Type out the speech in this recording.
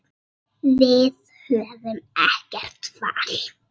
Við höfum ekkert val.